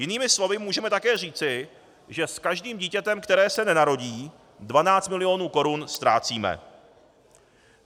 Jinými slovy můžeme také říci, že s každým dítětem, které se nenarodí, 12 mil. korun ztrácíme.